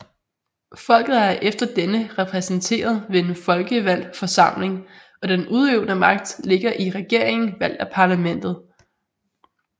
Folket er efter denne repræsenteret ved en folkevalgt forsamling og den udøvende magt ligger i regeringen valgt af parlamentet